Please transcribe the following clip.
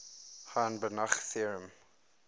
hahn banach theorem